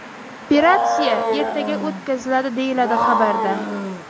Operatsiya ertaga o‘tkaziladi”, deyiladi xabarda.